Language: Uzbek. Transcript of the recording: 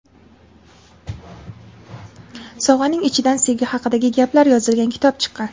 Sovg‘aning ichidan sevgi haqidagi gaplar yozilgan kitob chiqqan.